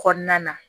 Kɔnɔna na